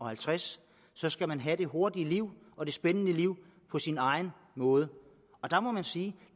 halvtreds år skal man have det hurtige liv og det spændende liv på sin egen måde der må man sige at